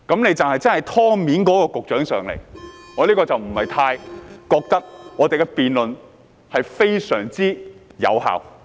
現時只有"湯面"的勞福局局長出席，我便不太覺得我們的辯論會非常有效。